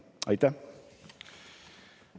Aitäh!